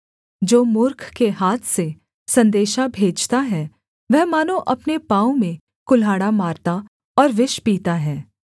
जो मूर्ख के हाथ से सन्देशा भेजता है वह मानो अपने पाँव में कुल्हाड़ा मारता और विष पीता है